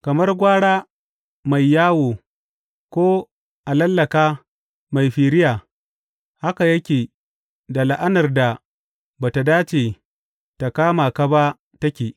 Kamar gwara mai yawo ko alallaka mai firiya, haka yake da la’anar da ba tă dace tă kama ka ba take.